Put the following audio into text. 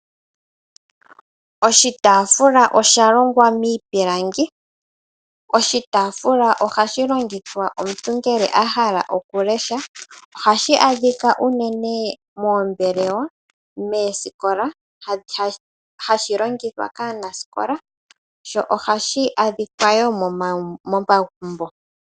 Oshitafula osha longwa miipilangi, oshitafula oha shi longithwa uuna omuntu a hala okulesha oha shi adhikwa unene moombelewa moosikola hashi longithwa kaanasikola sho oha shi adhikwawo momagumbo.